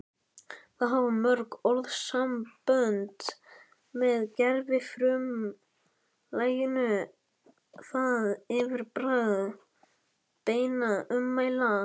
Þá hafa mörg orðasambönd með gervifrumlaginu það yfirbragð beinna ummæla